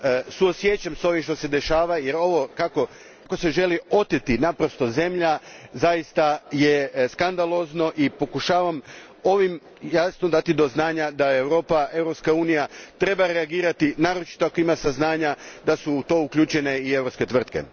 Suosjećam s ovim što se dešava jer ovo kako se želi oteti zemlja zaista je skandalozno i pokušavam ovim jasno dati do znanja da Europa, Europska unija, treba reagirati, naročito ako ima saznanja da su u to uključene i europske tvrtke.